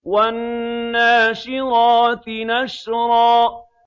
وَالنَّاشِرَاتِ نَشْرًا